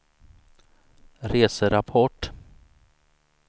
reserapport